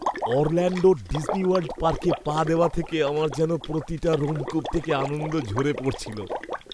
অরল্যাণ্ডোর Disney World পার্কে পা দেওয়া থেকে আমার যেন প্রতিটা রোমকূপ থেকে আনন্দ ঝরে পড়ছিল।